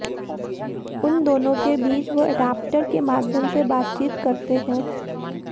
उन दोनों के बीच वे एडाप्टर के माध्यम से बातचीत करते हैं